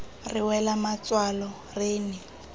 re wela matswalo re ne